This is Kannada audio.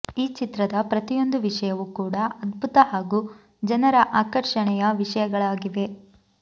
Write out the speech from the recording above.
ಈ ಚಿತ್ರದ ಪ್ರತಿಯೊಂದು ವಿಷಯವೂ ಕೂಡಾ ಅದ್ಭುತ ಹಾಗೂ ಜನರ ಆಕರ್ಷಣೆಯ ವಿಷಯಗಳಾಗಿವೆ